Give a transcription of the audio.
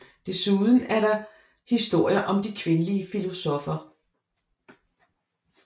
Desuden er der historien om de kvindelige filosoffer